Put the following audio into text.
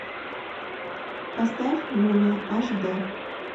поставь мумия аш дэ